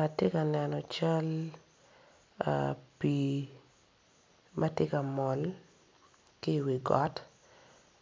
Atye ka neno cal pii matye kamol ki iwi got